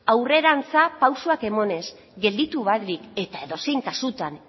aurrerantz pausuak emanez gelditu barik eta edozein kasutan